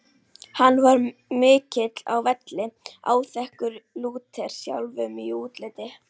Hann var mikill á velli, áþekkur Lúter sjálfum í útliti.